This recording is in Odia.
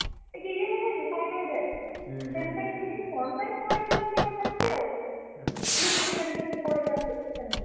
ଟିକେ ଇଏ ହେଇଯାଏନି side ହେଇଯାଏ। କଣ ପାଇଁ ପଡିଗଲା କି ହଠାତ୍ କି ଆଉ, slip ହେଇଗଲେ ଯେମତି ପଡ଼ିଯାନ୍ତି, ସେମତି।